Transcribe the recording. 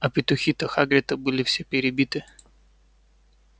а петухи-то хагрита были все перебиты